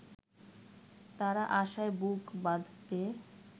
তারা আশায় বুক বাঁধবে